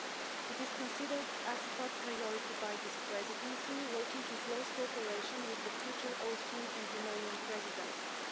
The file is considered a top priority by this Presidency, working in close cooperation with the future Austrian and Romanian Presidencies.